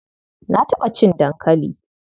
Na taɓa cin dankali.